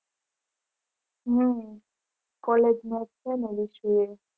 હમ college માં એક છેને એ